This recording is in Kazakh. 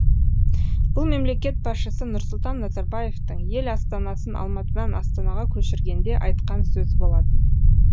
бұл мемлекет басшысы нұрсұлтан назарбаевтың ел астанасын алматыдан астанаға көшіргенде айтқан сөзі болатын